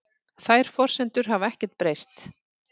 Þær forsendur hafi ekkert breyst